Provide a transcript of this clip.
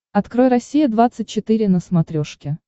открой россия двадцать четыре на смотрешке